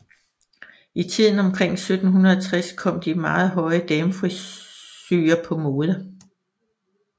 I tiden omkring 1760 kom de meget høje damefrisurer på mode